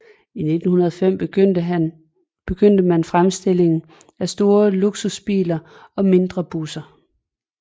I 1905 begyndte man fremstilling af store luksusbiler og mindre busser